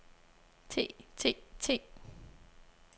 te te te